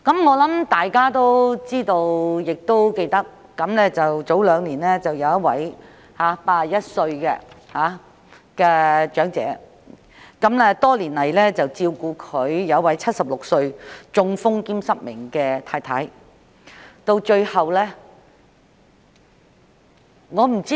我相信大家知道、也仍然記得兩年前的一宗個案，當中一位81歲長者多年來照顧其76歲已中風的失明妻子。